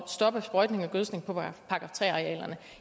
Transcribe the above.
stoppe sprøjtning og gødskning på § tre arealerne